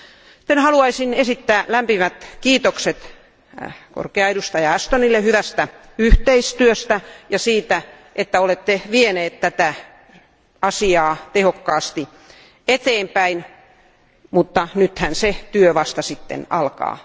Sitten haluaisin esittää lämpimät kiitokset korkealle edustajalle Ashtonille hyvästä yhteistyöstä ja siitä, että olette vieneet tätä asiaa tehokkaasti eteenpäin, mutta nythän se työ vasta sitten alkaa.